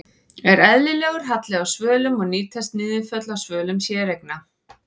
Er eðlilegur halli á svölum og nýtast niðurföll á svölum séreigna?